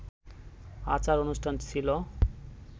আচার-অনুষ্ঠান ছিল